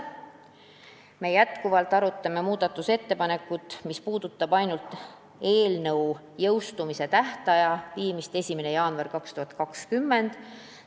Me arutasime endiselt muudatusettepanekut, mis puudutab ainult eelnõu jõustumise tähtaja viimist 1. jaanuarile 2020.